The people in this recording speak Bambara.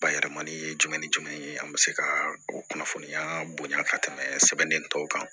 Bayɛlɛmani ye jumɛn ni jumɛn ye an bɛ se ka o kunnafoniya bonya ka tɛmɛ sɛbɛn tɔw kan